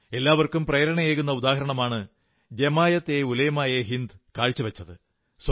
എല്ലാവർക്കും പ്രേരണയേകുന്ന ഉദാഹരണമാണ് ജമാഅത് ഉലമാ യേ ഹിന്ദ് കാഴ്ചവച്ചത്